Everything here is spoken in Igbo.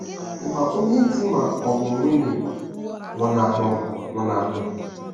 Ị̀ ma onye di ma ọ bụ nwunye nwụnahụrụ nwụnahụrụ?